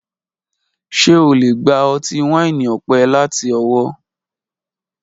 Ṣe o le gba ọti-waini ọpẹ lati Owo